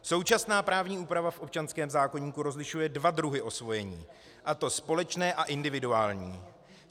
Současná právní úprava v občanském zákoníku rozlišuje dva druhy osvojení, a to společné a individuální.